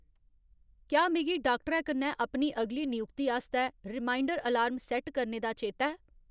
क्या मिगी डाक्टरै कन्नै अपनी अगली नयुक्ति आस्तै रिमाइंडर अलार्म सैट्ट करने दा चेता ऐ ?